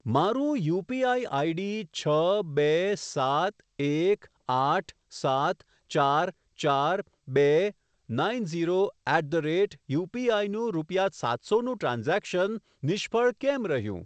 મારું UPI ID છ બે સાત એક આઠ સાત ચાર ચાર બે nine zero at the rate UPI નું રૂપિયા સાતસો નું ટ્રાન્ઝેક્શન નિષ્ફળ કેમ રહ્યું?